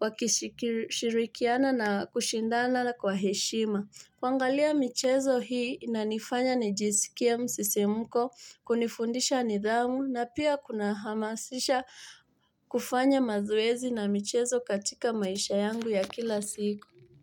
wakishirikiana na kushindana kwa heshima. Kuangalia michezo hii inanifanya ni jisikie msisimko kunifundisha nidhamu na pia kuna hamasisha kufanya mazoezi na michezo katika maisha yangu ya kila siku.